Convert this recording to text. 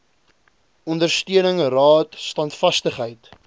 ondersteuning raad standvastigheid